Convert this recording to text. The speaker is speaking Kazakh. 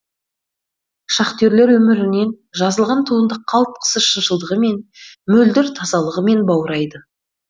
шахтерлер өмірінен жазылған туынды қалтқысыз шыншылдығымен мөлдір тазалығымен баурайды